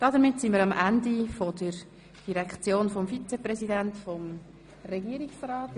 Damit sind wir am Ende der Direktion des Vizepräsidenten des Regierungsrats angelangt.